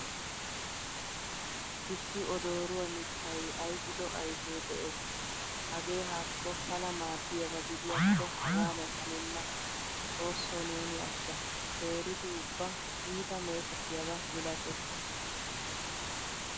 Issi odoruwaa miittay ayfido ayfe de'ees. Hagee haako pala maaddiyaba gidiyakko hagadan hanenna. Xoosso neeni ashsha. Teeridi ubba iitta meetettiyaba milattees.